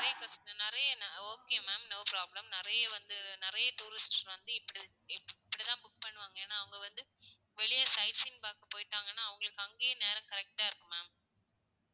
breakfast நிறைய ந~ okay mam no problem நிறைய வந்து நிறைய tourist வந்து இப்படி இப்படித்தான் book பண்ணுவாங்க. ஏன்னா அவங்க வந்து வெளியே site scene பார்க்க போயிட்டாங்கன்னா, அவங்களுக்கு அங்கேயே நேரம் correct டா இருக்கும் ma'am